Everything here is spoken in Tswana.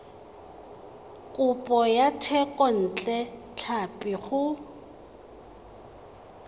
kopo ya thekontle tlhapi go